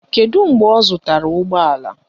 Kedụ mgbe ọ zụtara ụgbọala?